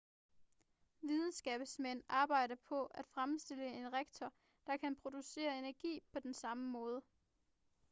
videnskabsmænd arbejder på at fremstille en reaktor der kan producere energi på den samme måde